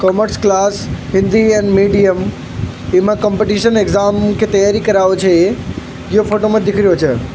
Commerce class Hindi and medium इमे competition exam की तैयारी करउ छे ये यो फोटो में दिखरयो छे।